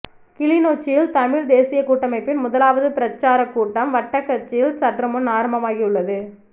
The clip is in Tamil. கிளிநொச்சியில் தமிழ்த் தேசியக் கூட்டமைப்பின் முதலாவது பிரச்சாரக் கூட்டம் வட்டக்கச்சியில் சற்றுமுன் ஆரம்பமாகி உள்ளது